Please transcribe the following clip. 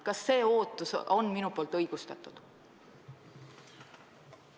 Kas see ootus on õigustatud?